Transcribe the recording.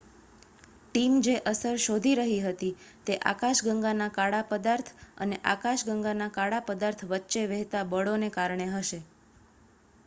team જે અસર શોધી રહી હતી તે આકાશગંગાના કાળા પદાર્થ અને આકાશગંગાના કાળા પદાર્થ વચ્ચે વહેતા બળોને કારણે હશે